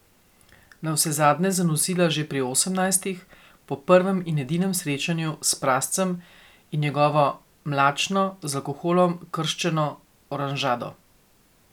Navsezadnje je zanosila že pri osemnajstih, po prvem in edinem srečanju s prascem in njegovo mlačno, z alkoholom krščeno oranžado.